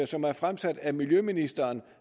som er fremsat af miljøministeren